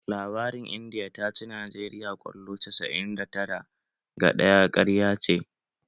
Labarin Indiya ta ci Najeriya kwallo casa'in da tara ga ɗaya ƙarya ce